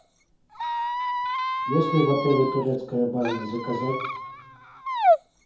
есть ли в отеле турецкая баня заказать